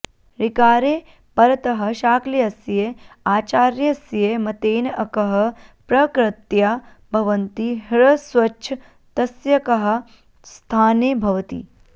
ऋकारे परतः शाक्ल्यस्य आचार्यस्य मतेन अकः प्रकृत्या भवन्ति ह्रस्वश्च तस्यकः स्थाने भवति